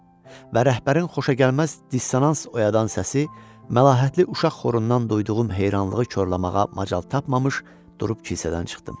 Və rəhbərin xoşagəlməz dissonans oyadan səsi məlahətli uşaq xorundan duyduğum heyranlığı korlamağa macal tapmamış durub kilsədən çıxdım.